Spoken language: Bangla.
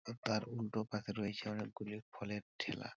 তার উল্টো পশে রয়েছে অনেকগুলি ফলের ঠেলা ।